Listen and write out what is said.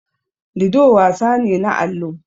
Lido wasan ne na allo.